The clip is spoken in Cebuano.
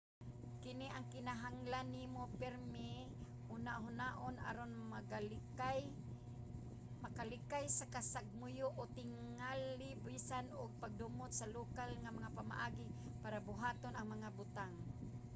kini ang kinahanglan nimo pirmi hunahunaon aron makalikay sa kasagmuyo o tingali bisan ang pagdumot sa lokal nga mga pamaagi para buhaton ang mga butang